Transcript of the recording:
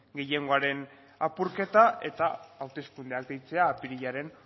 gehiengoaren apurketa eta hauteskundeak deitzea apirilaren